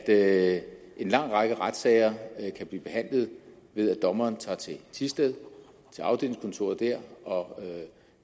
at en lang række retssager kan blive behandlet ved at dommeren tager til afdelingskontoret i thisted og